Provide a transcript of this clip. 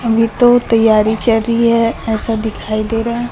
अभी तो तैयारी चल रही है ऐसा दिखाई दे रहा--